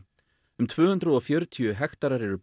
um tvö hundruð og fjörutíu hektarar eru